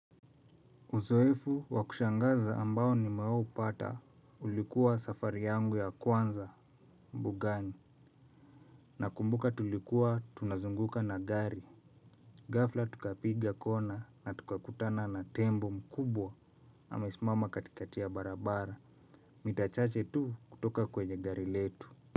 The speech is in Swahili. Uzoefu wa kushangaza ambao nimewahi upata ulikuwa safari yangu ya kwanza mbugani. Nakumbuka tulikuwa tunazunguka na gari. Ghafla tukapiga kona na tukakutana na tembo mkubwa. Amesimama katikati ya barabara mita chache tu kutoka kwenye gari letu.